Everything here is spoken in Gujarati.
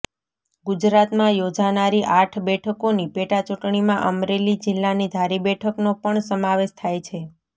ગુજરાતમાં યોજાનારી આઠ બેઠકોની પેટાચૂંટણીમાં અમરેલી જિલ્લાની ધારી બેઠકનો પણ સમાવેશ થાય છે